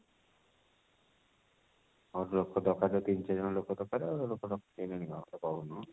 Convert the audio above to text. ଆହୁରି ଲୋକ ଦରକାର ତିନି ଚାରି ଜଣ ଲୋକ ଦରକାର ଆଉ ସେ ଲୋକ ରଖିସାରିଲେଣି କଣ ମୋତେ କହୁନୁ